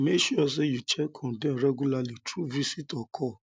make sure say you check on them regularly through visit or call